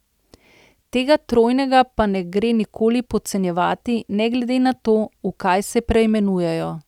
Tega trojega pa ne gre nikoli podcenjevati ne glede na to, v kaj se preimenujejo.